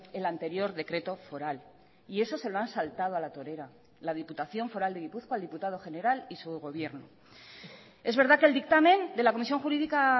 el anterior decreto foral y eso se lo han saltado a la torera la diputación foral de gipuzkoa el diputado general y su gobierno es verdad que el dictamen de la comisión jurídica